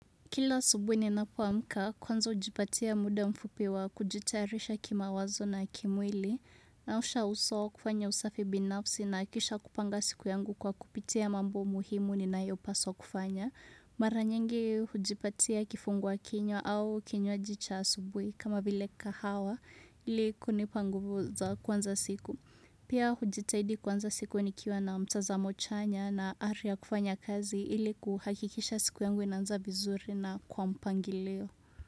Kila asubuhi ninapoamka kwanza hujipatia muda mfupi wa kujitayarisha kimawazo na kimwili naosha uso kufanya usafi binafsi na kisha kupanga siku yangu kwa kupitia mambo muhimu ninayo paswa kufanya. Mara nyingii hujipatia kifungwa kinywa au kinywaji cha asubuhi kama vile kahawa ili kunipa nguvu za kuanza siku. Pia hujitahidi kuanza siku nikiwa na mtazamo chanya na ari ya kufanya kazi ili kuhakikisha siku yangu inaanza vizuri na kwa mpangilio.